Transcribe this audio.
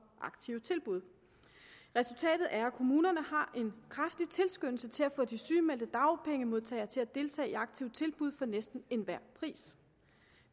aktive tilbud resultatet er at kommunerne har en kraftig tilskyndelse til at få de sygemeldte dagpengemodtagere til at deltage i aktive tilbud for næsten enhver pris